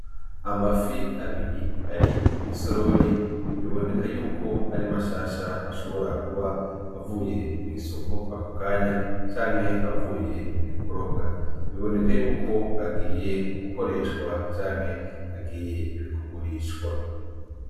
Amafi abiri ari mu isorori biboneka yuko ari mashasha ashobora kuba avuye mu isoko ako kanya canke avuye kurobwa biboneka yuko agiye gukoreshwa canke agiye kugurishwa.